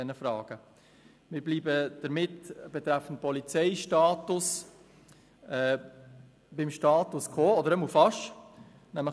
Wir bleiben also betreffend Polizeistatus – zumindest beinahe – beim Status quo.